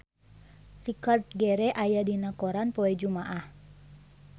Richard Gere aya dina koran poe Jumaah